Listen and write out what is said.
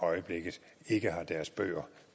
øjeblikket ikke har deres bøger